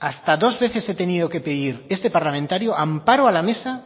hasta dos veces he tenido que pedir este parlamentario amparo a la mesa